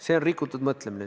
See on rikutud mõtlemine.